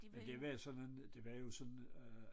Men det var jo sådan noget det var jo sådan øh